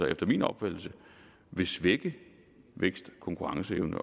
efter min opfattelse vil svække vækst og konkurrenceevnen